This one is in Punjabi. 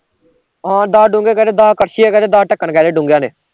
ਹਾਂ ਦਸ ਡੋਂਗੇ ਕਹਿਦੇ, ਦਸ ਕੜਛੀਆਂ ਕਹਿਦੇ, ਦਸ ਢੱਕਣ ਕਹਿਦੇ ਡੋਂਗਿਆ ਆਲੇ